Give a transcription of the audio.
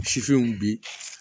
Sifinw bi